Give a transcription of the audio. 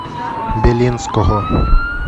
белинского